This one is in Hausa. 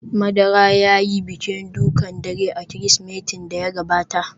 Madara ya yi bikin dukan dare a Kirsimetin da ya gabata